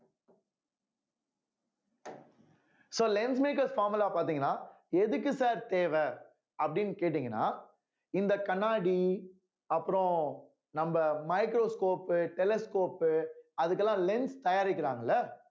so lens makers formula பாத்தீங்கன்னா எதுக்கு sir தேவை அப்படின்னு கேட்டீங்கன்னா இந்த கண்ணாடி அப்புறம் நம்ம microscope உ telescope உ அதுக்கெல்லாம் lens தயாரிக்கிறாங்கல்ல